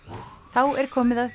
þá er komið að